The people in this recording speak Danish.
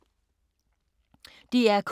DR K